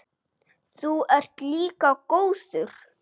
Þú ert líka góður.